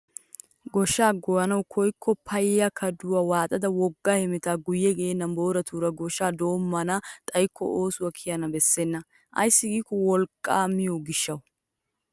Goshshaa goyanawu koyikko payya kaduwaa waaxada wogga hemetaa guye geenna booratura gooshshaa dommana xayikko oosuwawu kiyana beessena. ayssi giikko wolqqaa miyoo gishshawu!